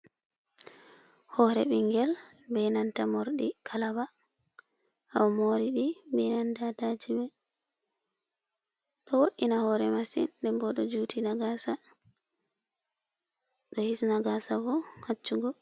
Hore ɓingel be nanta mordi kalaba ha omoriɗi be nanta ata chime, ɗo wo'ina hore masin nden bo ɗo juti a gasa ɗo hisna gasa bo haccugo.